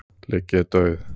ligg ég dauð.